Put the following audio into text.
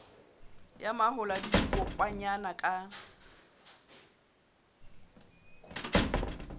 ya mahola le dikokwanyana ka